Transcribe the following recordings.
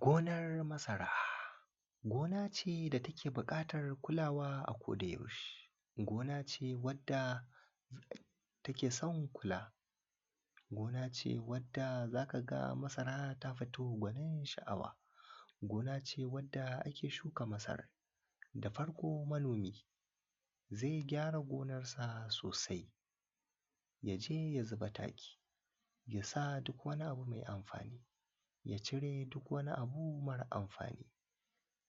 Gonar masara, gona ce da take buƙatar kulawa akodayaushe, gona ce wadda take son kula, gona ce wadda za ka ga masara ta fito gwanin ban sha’awa. Gona ce wadda ake shuka masara, da farko manomi zai gyara gonarsa sosai ya je ya zuba taki, ya sa duk wani abu mai amfani, ya cere duk wani abu mara amfani.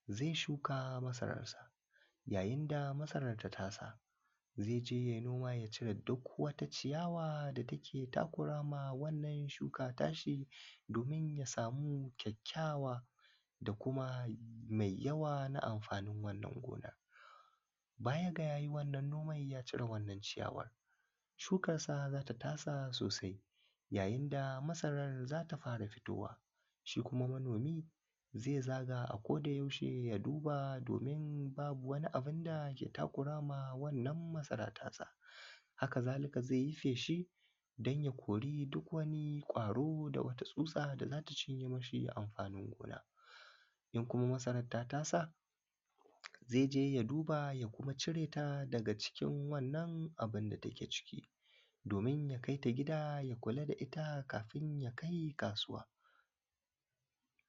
Zai shuka masararsa, yayin da masarar ta tasa, zai je yai noma ya cire duk wata ciyawa da take takurawa wannan shuka ta shi, domin ya sami kyakkyawa da kuma mai yawa na amfanin wannan gona. Baya ga ya yi wannan noman ya cire wannan ciyawa shukansa za ta tasa sosai. Yayin da masarar za ta fara fitowa, shi kuma manomi zai zaga akodayaushe ya duba, domin babu wani abun da yake takurawa wannan masara tasa. Haka-zali-ka zai yi feshi don ya kori duk wani ƙwaro da wata tsutsa da za ta cinye masa amganin gona, in kuma masarar ta tasa zai je ya duba a kuma cire ta daga cikin wannan abun da take ciki. domin a kai ta gida ya kula da ita kafin ya kai kasuwa.